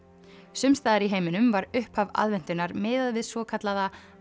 sums staðar í heiminum var upphaf aðventunnar miðað við svokallaða